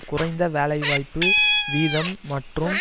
குறைந்த வேலை வாய்ப்பு வீதம் மற்றும்